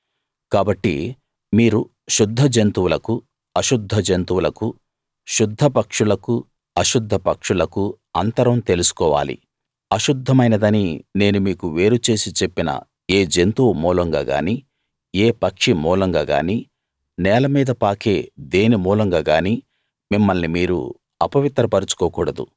కాబట్టి మీరు శుద్ధ జంతువులకు అశుద్ధ జంతువులకు శుద్ధ పక్షులకు అశుద్ధ పక్షులకు అంతరం తెలుసుకోవాలి అశుద్ధమైనదని నేను మీకు వేరు చేసి చెప్పిన ఏ జంతువు మూలంగా గానీ ఏ పక్షి మూలంగా గానీ నేల మీద పాకే దేని మూలంగా గానీ మిమ్మల్ని మీరు అపవిత్ర పరచుకోకూడదు